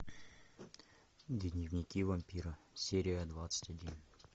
дневники вампира серия двадцать один